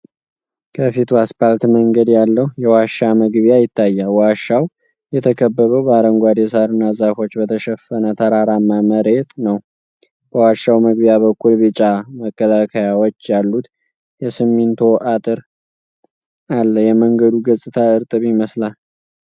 ከፊቱ አስፓልት መንገድ ያለው የዋሻ መግቢያ ይታያል። ዋሻው የተከበበው በአረንጓዴ ሳርና ዛፎች በተሸፈነ ተራራማ መሬት ነው። በዋሻው መግቢያ በኩል ቢጫ መከለያዎች ያሉት የሲሚንቶ አጥር አለ፤ የመንገዱ ገጽታ እርጥብ ይመስላል።